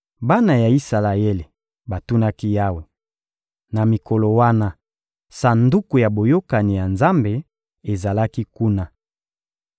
Bana ya Isalaele batunaki Yawe. (Na mikolo wana, Sanduku ya Boyokani ya Nzambe ezalaki kuna.